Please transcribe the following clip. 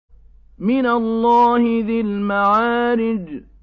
مِّنَ اللَّهِ ذِي الْمَعَارِجِ